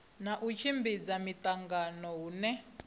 na u tshimbidza miṱangano hune